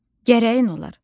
Gərəyin olar.